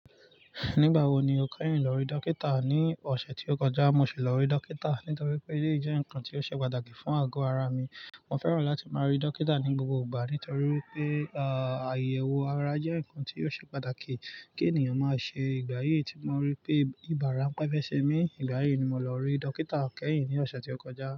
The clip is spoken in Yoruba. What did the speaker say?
Nígbà wo ni o keyìn lọ rí dókítà? Ní ọ̀sẹ̀ tí o kọjá mo si lọ rí dókítà nítorí pé, eleyi jẹ́ nǹkan tí ó ṣe pàtàkì fún àgọ́ ara mi. Mo fẹ́ràn láti máa rí dókítà ní gbogbo ìgbà nítorí pé, àyèwò ara jẹ́ nǹkan tí ò ṣe pàtàkì kí ènìyàn máa ṣe ìgbà yíí tí mo rí pé ibà ránpẹ́ fẹ́ ṣe mí. Ìgbà yíì ni mo lọ rí dókítà kẹ́yìn ní ọ̀sẹ̀ tí o kọjá.